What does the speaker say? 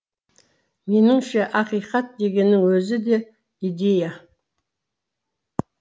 меніңше ақиқат дегеннің өзі де идея